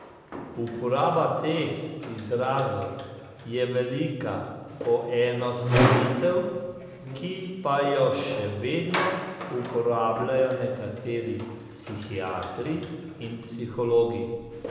Uporaba teh izrazov je velika poenostavitev, ki pa jo še vedno uporabljajo nekateri psihiatri in psihologi.